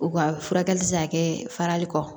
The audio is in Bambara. U ka furakɛli tɛ se ka kɛ farali kɔ